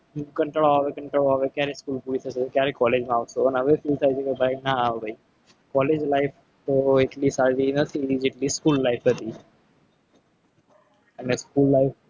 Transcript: કંટાળો આવે કંટાળો આવે ત્યારે college માં આવો ને ક્યારે college life તો એટલી બધી સારી ગઈ નથી. જેટલી school life હતી. અને school life